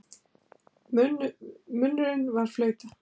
Munnurinn var flauta.